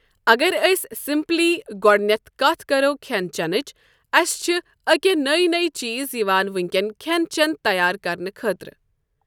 اگر أسۍ سمپلی گۄڈۄنٮ۪تھ کتھ کرو کھٮ۪ن چٮ۪نٕچ اسہِ چھ أکے نٔۍ نٔۍ چیٖز یِوان ؤنکیٚن کھٮ۪ن چٮ۪ن تیار کرنہٕ خٲطرٕ ۔